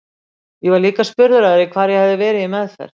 Ég var líka spurður að því hvar ég hefði verið í meðferð.